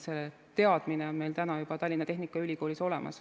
See teadmine on meil täna juba Tallinna Tehnikaülikoolis olemas.